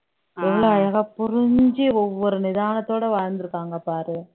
எவ்வளோ அழகா புரிஞ்சு ஒவ்வொரு நிதானத்தோட வாழ்ந்திருக்காங்க பாரு